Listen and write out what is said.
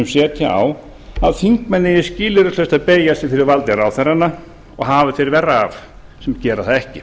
setja á að þingmenn eigi skilyrðislaust að beygja sig fyrir valdi ráðherranna og hafi þeir verra af sem gera það ekki